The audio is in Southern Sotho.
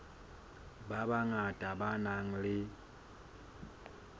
ba bangata ba nang le